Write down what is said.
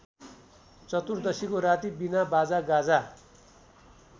चतुर्दशीको राती बिनाबाजागाजा